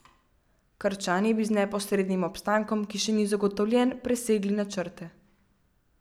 Krčani bi z neposrednim obstankom, ki še ni zagotovljen, presegli načrte.